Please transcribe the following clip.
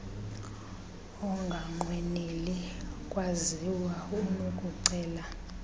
onganqweneli kwaziwa unokucela